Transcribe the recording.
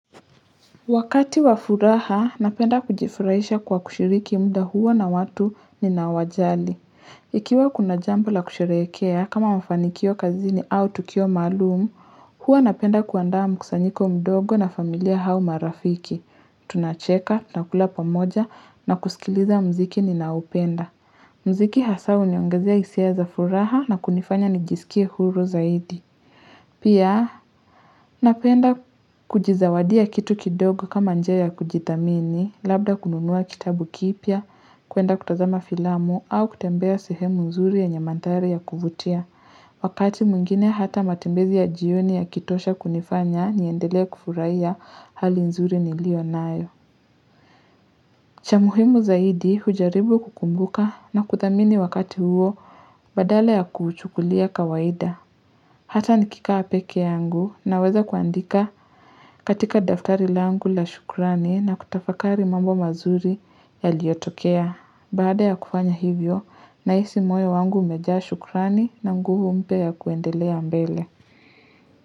Wakati wa furaha, napenda kujifurahisha kwa kushiriki muda huo na watu ninaowajali. Ikiwa kuna jambo la kusherehekea, kama mafanikio kazini au tukio maalum, huwa napenda kuandaa mkusanyiko mdogo na familia au marafiki. Tunacheka, tunakula pamoja na kusikiliza muziki ninaohupenda. Muziki hasa huniongezea hisia za furaha na kunifanya nijisikie huru zaidi. Pia, napenda kujizawadia kitu kidogo kama njia ya kujithamini, labda kununua kitabu kipya, kuenda kutazama filamu, au kutembea sehemu nzuri yanye mandhari ya kuvutia. Wakati mwingine hata matembezi ya jioni yakitosha kunifanya, niendelee kufurahia hali nzuri nilionayo. Cha muhimu zaidi, hujaribu kukumbuka na kuthamini wakati huo, badala ya kuchukulia kawaida. Hata nikikaa pekee yangu naweza kuandika katika daftari langu la shukrani na kutafakari mambo mazuri yaliyotokea. Baada ya kufanya hivyo, nahisi moyo wangu umejaa shukrani na nguvu mpya ya kuendelea mbele.